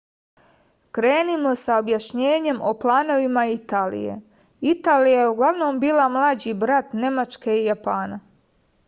krenimo sa objašnjenjem o planovima italije italija je uglavnom bila mlađi brat nemačke i japana